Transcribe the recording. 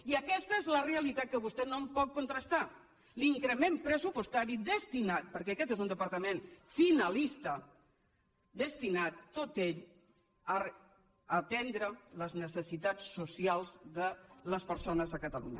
i aquesta és la realitat que vostè no em pot contrastar l’increment pressupostari destinat perquè aquest és un departament finalista tot ell a atendre les necessitats socials de les persones a catalunya